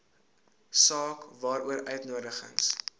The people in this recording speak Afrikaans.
saak waaroor uitnodigings